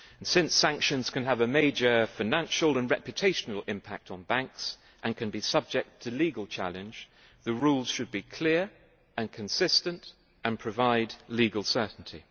Since sanctions can have a major financial and reputational impact on banks and can be subject to legal challenge, the rules should be clear and consistent and provide legal certainty.